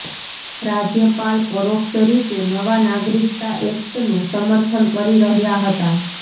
રાજ્યપાલ પરોક્ષ રીતે નવા નાગરિકતા એક્ટનુ સમર્થન કરી રહ્યા હતા